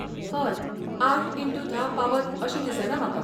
हय, आठ इनटू धा पावत अशें दिसना म्हाका.